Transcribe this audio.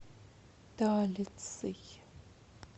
талицей